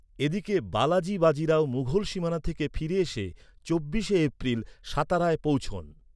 এদিকে, বালাজি বাজি রাও মুঘল সীমানা থেকে ফিরে এসে, চব্বিশে এপ্রিল সাতারায় পৌঁছন।